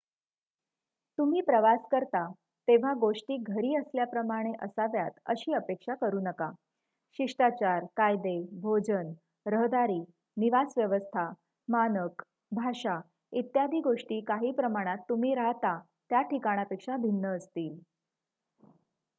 "तुम्ही प्रवास करता तेव्हा गोष्टी "घरी असल्याप्रमाणे" असाव्यात अशी अपेक्षा करू नका. शिष्टाचार कायदे भोजन रहदारी निवास व्यवस्था मानक भाषा इत्यादी गोष्टी काही प्रमाणात तुम्ही राहता त्याठिकाणापेक्षा भिन्न असतील.